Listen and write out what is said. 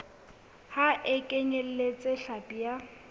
ha e kenyeletse hlapi ya